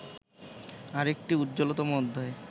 আরেকটি উজ্জ্বলতম অধ্যায়